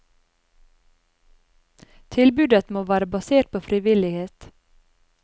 Tilbudet må være basert på frivillighet.